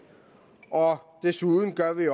og desuden har vi